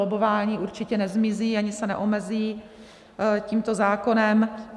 Lobbování určitě nezmizí ani se neomezí tímto zákonem.